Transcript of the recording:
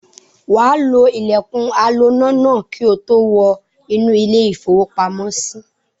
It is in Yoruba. Wà á lo ilẹ̀kùn aloná náà kí ó tó wọ inú ilé-ìfowópamọ́sí.